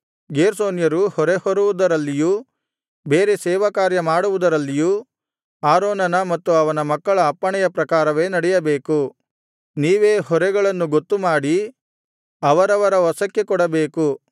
ಗೇರ್ಷೋನ್ಯರು ಹೊರೆ ಹೊರುವುದರಲ್ಲಿಯೂ ಬೇರೆ ಸೇವಾಕಾರ್ಯ ಮಾಡುವುದರಲ್ಲಿಯೂ ಆರೋನನ ಮತ್ತು ಅವನ ಮಕ್ಕಳ ಅಪ್ಪಣೆಯ ಪ್ರಕಾರವೇ ನಡೆಯಬೇಕು ನೀವೇ ಹೊರೆಗಳನ್ನು ಗೊತ್ತುಮಾಡಿ ಅವರವರ ವಶಕ್ಕೆ ಕೊಡಬೇಕು